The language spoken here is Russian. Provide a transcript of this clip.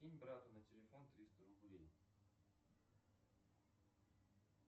кинь брату на телефон триста рублей